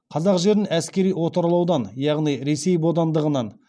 қазақ жерін әскери отарлаудан яғни ресей бодандығынан